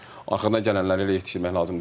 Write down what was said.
Arxadan gələnləri elə yetişdirmək lazımdır ki.